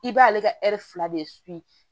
I b'ale ka fila de